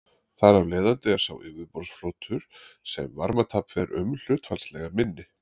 Þar af leiðandi er sá yfirborðsflötur sem varmatap fer um hlutfallslega minni.